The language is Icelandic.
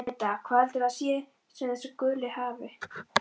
Linda: Hvað heldurðu að það sé sem þessi guli hafi?